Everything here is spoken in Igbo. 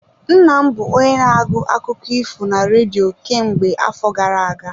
Nna m bụ onye na-agụ akụkọ ifo na redio kemgbe afọ gara aga.